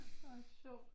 Hvor sjovt